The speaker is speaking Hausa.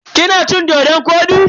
Kina cin-dodon kwodi?